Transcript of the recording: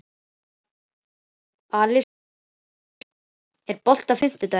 Alisa, er bolti á fimmtudaginn?